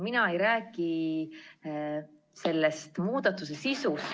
Mina ei räägi selle muudatuse sisust.